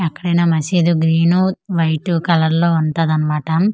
ఎక్కడైనా మసీదు green white colour లో వుంటాదన్న మాట .]